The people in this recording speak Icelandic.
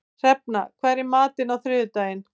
Hrefna, hvað er í matinn á þriðjudaginn?